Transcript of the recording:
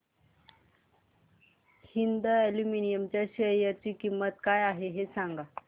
Hind Aluminium च्या share ची किंमत काय आहे हे सांगा